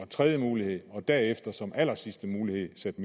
tredje mulighed og derefter som den allersidste mulighed satte